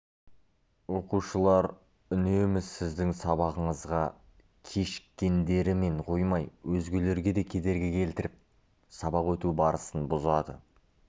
оқушылар үнемі сіздің сабағыңызға кешіккендерімен қоймай өзгелерге де кедергі келтіріп сабақ өту барысын бұзады